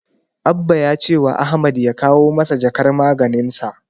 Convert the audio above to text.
Abba ya cewa Ahmad ya kawo masa jakar maganinsa.